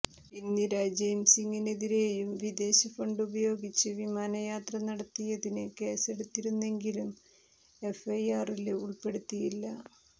ഇന്ദിര ജയ്സിംഗിനെതിരെയും വിദേശ ഫണ്ടുപയോഗിച്ച് വിമാനയാത്ര നടത്തിയതിന് കേസെടുത്തിരുന്നെങ്കിലും എഫ്ഐആറില് ഉള്പ്പെടുത്തിയില്ല